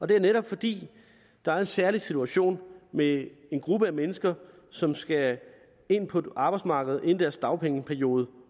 det er netop fordi der er en særlig situation med en gruppe mennesker som skal ind på arbejdsmarkedet inden deres dagpengeperiode